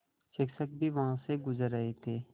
शिक्षक भी वहाँ से गुज़र रहे थे